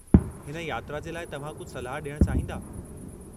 हिन यात्रा जे लाइ तव्हां कुझु सलाह ॾियणु चाहींदा?